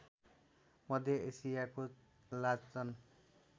मध्य एसियाको लाचन